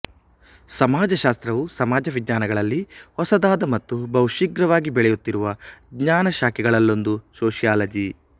ಸಮಾಜಶಾಸ್ತ್ರವು ಸಮಾಜ ವಿಜ್ಞಾನಗಳಲ್ಲಿ ಹೊಸದಾದ ಮತ್ತು ಬಹುಶೀಘ್ರವಾಗಿ ಬೆಳೆಯುತ್ತಿರುವ ಜ್ಞಾನ ಶಾಖೆಗಳಲ್ಲೊಂದು ಸೋಷಿಯಾಲಜಿ